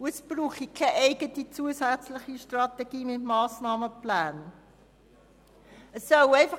Es brauche keine zusätzliche Strategie mit Massnahmenplänen.